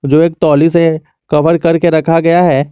जो एक तौली से कवर करके रखा गया है।